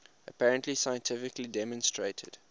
apparently scientifically demonstrated